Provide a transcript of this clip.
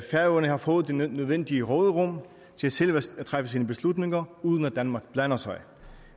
færøerne har fået det nødvendige råderum til selv at træffe sine beslutninger uden at danmark blander sig